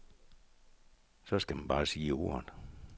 Så skal man bare sige ordet.